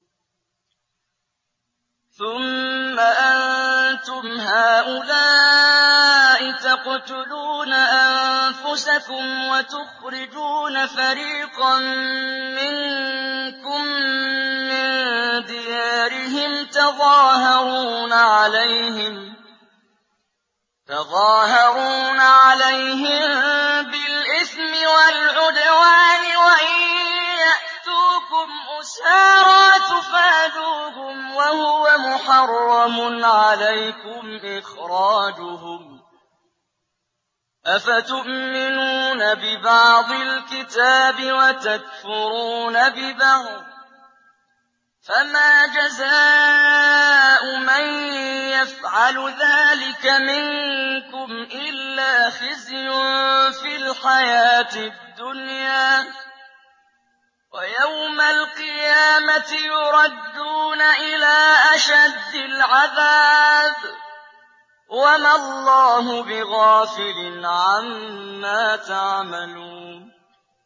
ثُمَّ أَنتُمْ هَٰؤُلَاءِ تَقْتُلُونَ أَنفُسَكُمْ وَتُخْرِجُونَ فَرِيقًا مِّنكُم مِّن دِيَارِهِمْ تَظَاهَرُونَ عَلَيْهِم بِالْإِثْمِ وَالْعُدْوَانِ وَإِن يَأْتُوكُمْ أُسَارَىٰ تُفَادُوهُمْ وَهُوَ مُحَرَّمٌ عَلَيْكُمْ إِخْرَاجُهُمْ ۚ أَفَتُؤْمِنُونَ بِبَعْضِ الْكِتَابِ وَتَكْفُرُونَ بِبَعْضٍ ۚ فَمَا جَزَاءُ مَن يَفْعَلُ ذَٰلِكَ مِنكُمْ إِلَّا خِزْيٌ فِي الْحَيَاةِ الدُّنْيَا ۖ وَيَوْمَ الْقِيَامَةِ يُرَدُّونَ إِلَىٰ أَشَدِّ الْعَذَابِ ۗ وَمَا اللَّهُ بِغَافِلٍ عَمَّا تَعْمَلُونَ